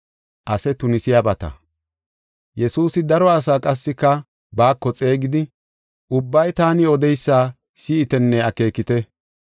Yesuusi daro asaa qassika baako xeegidi, “Ubbay taani odeysa si7itenne akeekite.